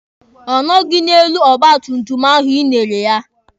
Ọ nọghị n'elu ọgba tum tum ahụ Ị nyere ya.